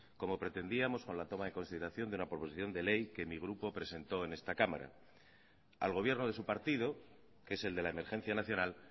como pretendíamos con la toma en consideración de una proposición de ley que mi grupo presentó en esta cámara al gobierno de su partido que es el de la emergencia nacional